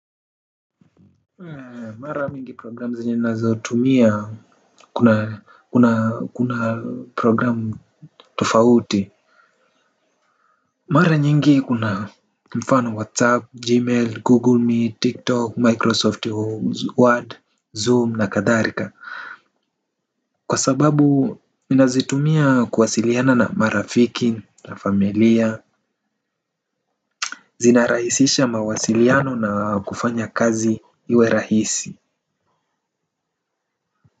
Mara mingi programu zenye tunazotumia kuna kuna programu tofauti. Mara nyingi kuna mfano whatsapp, gmail, google meet, tiktok, microsoft word, zoom na kadhalika. Kwa sababu ninazitumia kuwasiliana na marafiki na familia. Zinarahisisha mawasiliano na kufanya kazi iwe rahisi.